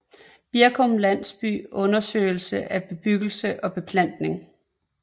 Birkum Landsby Undersøgelse af bebyggelse og beplantning